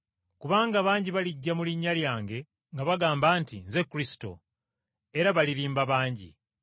Kubanga bangi balijja mu linnya lyange nga bagamba nti, ‘Nze Kristo’, era balirimba bangi.